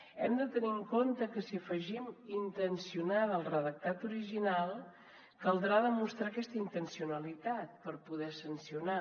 hem de tenir en compte que si afegim intencionada al redactat original caldrà demostrar aquesta intencionalitat per poder sancionar